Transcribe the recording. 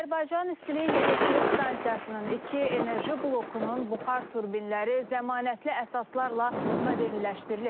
Azərbaycan İstilik Elektrik Stansiyasının iki enerji blokunun buxar turbinləri zəmanətli əsaslarla modernləşdirilib.